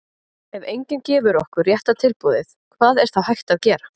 ef enginn gefur okkur rétta tilboðið hvað er þá hægt að gera?